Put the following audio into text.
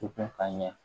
U kun ka ɲɛ